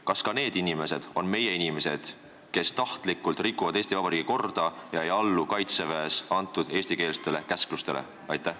Kas ka need inimesed on meie inimesed, kes tahtlikult rikuvad Eesti Vabariigi korda ega allu kaitseväes antud eestikeelsetele käsklustele?